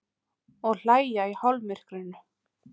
Og hlæja í hálfmyrkrinu.